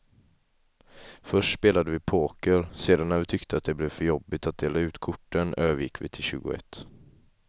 Först spelade vi poker, sedan när vi tyckte att det blev för jobbigt att dela ut korten övergick vi till tjugoett.